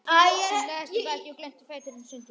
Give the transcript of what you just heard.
Hún lagðist á bakið og glennti fæturna sundur.